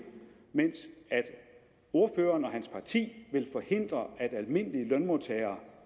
mens ordføreren og hans parti vil forhindre at almindelige lønmodtagere